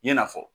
I n'a fɔ